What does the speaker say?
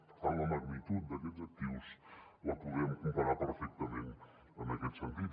per tant la magnitud d’aquests actius la podem comparar perfectament en aquest sentit